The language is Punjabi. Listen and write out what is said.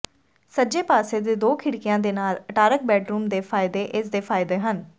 ਸੱਜੇ ਪਾਸੇ ਦੇ ਦੋ ਖਿੜਕੀਆਂ ਦੇ ਨਾਲ ਅਟਾਰਕ ਬੈਡਰੂਮ ਦੇ ਫਾਇਦੇ ਇਸ ਦੇ ਫਾਇਦੇ ਹਨ